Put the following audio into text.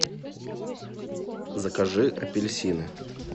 закажи апельсины